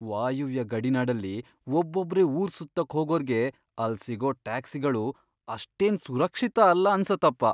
ವಾಯುವ್ಯ ಗಡಿನಾಡಲ್ಲಿ ಒಬ್ಬೊಬ್ರೇ ಊರ್ ಸುತ್ತೋಕ್ ಹೋಗೋರ್ಗೆ ಅಲ್ಲ್ ಸಿಗೋ ಟ್ಯಾಕ್ಸಿಗಳು ಅಷ್ಟೇನ್ ಸುರಕ್ಷಿತ ಅಲ್ಲ ಅನ್ಸತ್ತಪ.